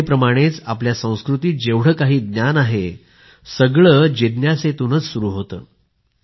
गीतेप्रमाणेच आपल्या संस्कृतीत जेवढे काही ज्ञान आहे सगळं जिज्ञासेतूनच सुरु होतं